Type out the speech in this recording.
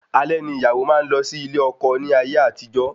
Alẹ́ ni ìyàwó máa n lọ sí ilé ọkọ ní ayé àtijó